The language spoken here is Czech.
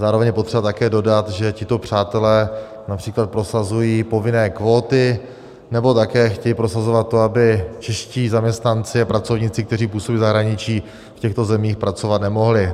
Zároveň je potřeba také dodat, že tito přátelé například prosazují povinné kvóty nebo také chtějí prosazovat to, aby čeští zaměstnanci a pracovníci, kteří působí v zahraničí, v těchto zemích pracovat nemohli.